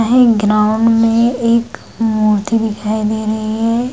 Ground में एक मूर्ति दिखाई दे रही है।